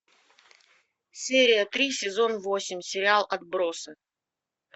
серия три сезон восемь сериал отбросы